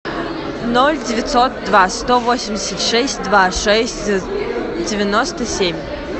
ноль девятьсот два сто восемьдесят шесть два шесть девяносто семь